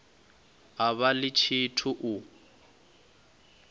a vha ḽi tshithu u